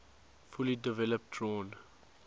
fully developed drawn